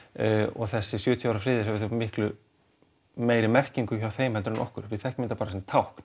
og þessi sjötíu ára friður hefur mikli meiri merkingu hjá þeim heldur en hjá okkur við þekkjum þetta bara sem tákn